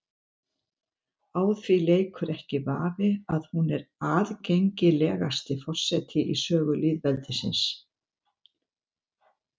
Á því leikur ekki vafi að hún er aðgengilegasti forseti í sögu lýðveldisins.